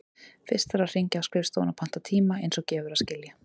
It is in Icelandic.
Fyrst þarf að hringja á skrifstofuna og panta tíma, eins og gefur að skilja.